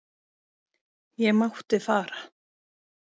Ég mátti fara.